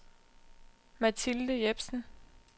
Mathilde Jepsen